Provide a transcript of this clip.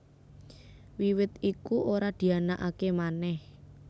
Wiwit iku ora dianakaké manèh